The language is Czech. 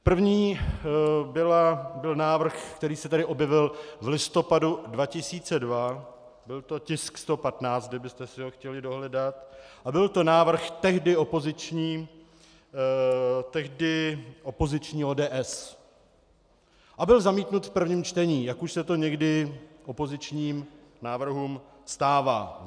První byl návrh, který se tady objevil v listopadu 2002, byl to tisk 115, kdybyste si ho chtěli dohledat, a byl to návrh tehdy opoziční ODS a byl zamítnut v prvním čtení, jak už se to někdy opozičním návrhům stává.